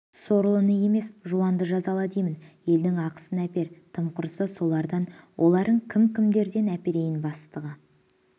сорлыны емес жуанды жазала деймін елдің ақысын әпер тым құрыса солардан оларың кім кімдерден әперейін бастығы